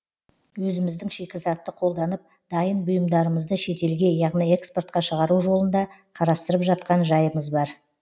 өзіміздің шикізатты қолданып дайын бұйымдарымызды шетелге яғни экспортқа шығару жолын да қарастырып жатқан жайымыз бар